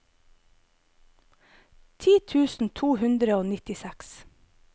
ti tusen to hundre og nittiseks